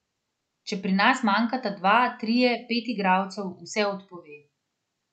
Če pri nas manjkata dva, trije, pet igralcev, vse odpove.